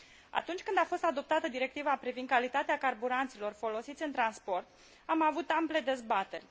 Atunci când a fost adoptată Directiva privind calitatea carburanților folosiți în transport am avut ample dezbateri.